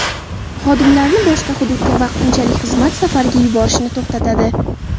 Xodimlarini boshqa hududga vaqtinchalik xizmat safariga yuborishni to‘xtatadi.